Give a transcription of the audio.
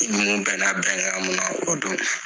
Ni ninnu bɛn na bɛnkan mun na o don